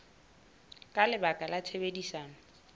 le ka baka la tshebedisano